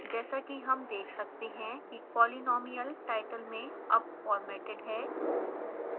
जैसा कि हम देख सकते हैं कि polynomial टाइटल में अब फॉर्मेटेड है